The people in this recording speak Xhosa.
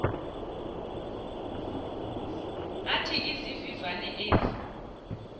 athi izivivane ezi